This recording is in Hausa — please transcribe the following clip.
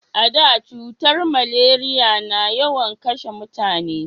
A da cutar maleriya na yawan kashe mutane